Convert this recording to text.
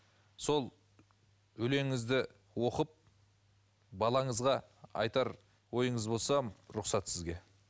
сол өлеңіңізді оқып балаңызға айтар ойыңыз болса рұқсат сізге